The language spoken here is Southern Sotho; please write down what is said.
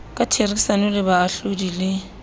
ka therisano le baahlodi le